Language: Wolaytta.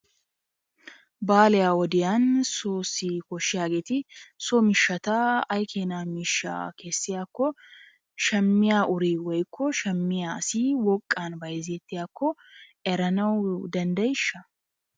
Baliyaa wodiyanni soossi koshiyaagetti soo mishatta ayi kennaa mishaa kesiyaako shamiyaa urri woyko shamiyaa asi woqqanni bayzetiyakko eranawu dandayishshaa.